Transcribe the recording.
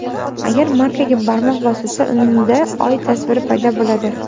Agar markaga barmoq bosilsa, unda Oy tasviri paydo bo‘ladi.